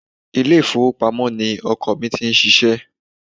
Ilé ifowopamo ni ọkọ ni ti ń ṣíṣe.